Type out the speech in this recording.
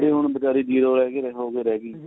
ਹੁਣ ਬੀਚਾਰੀ ਜੀਰੋ ਰਹਿ ਗਈ ਤੇ ਹੋ ਕੇ ਰਹਿ ਗਈ